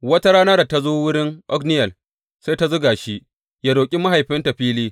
Wata rana da ta zo wurin Otniyel, sai ta zuga shi yă roƙi mahaifinta fili.